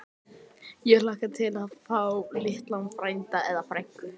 Ég hlakka til að fá lítinn frænda. eða frænku!